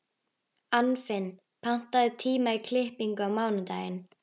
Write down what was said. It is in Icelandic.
Anfinn, pantaðu tíma í klippingu á mánudaginn.